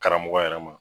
Karamɔgɔ yɛrɛ ma